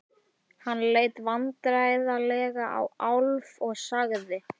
Hann leit vandræðalega á Álf og sagði